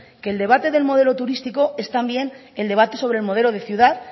que el debate de modelo turístico es también el debate de modelo de ciudad